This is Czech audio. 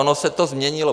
Ono se to změnilo.